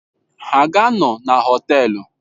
Ha ga-anọ na Họtelu?